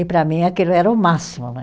E para mim aquilo era o máximo, né?